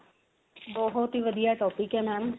ਬਹੁਤ ਹੀ ਵਧੀਆ topic ਹੈ mam